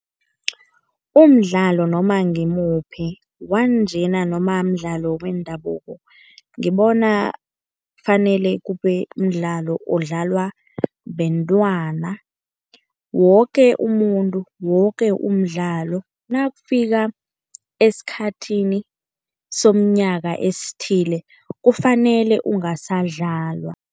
Umdlalo noma ngimuphi, wanjena noma mdlalo wendabuko ngibona kufanele kube mdlalo odlalwa bentwana. Woke umuntu, woke umdlalo nakufika esikhathini somnyaka esithile kufanele ungasadlalwa.